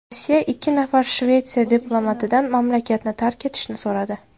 Rossiya ikki nafar Shvetsiya diplomatidan mamlakatni tark etishni so‘radi.